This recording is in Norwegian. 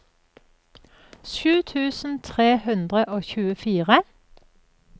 sju tusen tre hundre og tjuefire